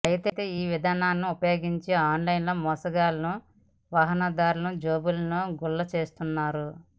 అయితే ఈ విధానాన్ని ఉపయోగించి ఆన్లైన్ మోసగాళ్లు వాహనదారుల జేబులను గుల్ల చేస్తున్నారు